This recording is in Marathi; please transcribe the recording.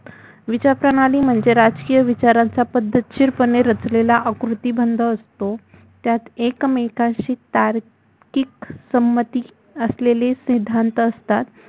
विचारप्रणाली म्हणजे राजकीय विचारांचा पद्धतीशीरपणे आकृती बंध असतो त्यात एकमेकांशी तात्विक पद्धतीने रचलेले समंती असेलेले सिद्धांत असतात